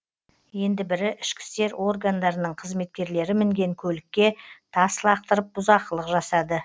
енді бірі ішкі істер органдарының қызметкерлері мінген көлікке тас лақтырып бұзақылық жасады